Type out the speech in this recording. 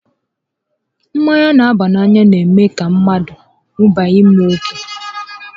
Mmanya n'aba n'anya n'eme mmadụ ọ ṅubiga mmanya ókè